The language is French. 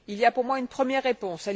Il y a pour moi une première réponse.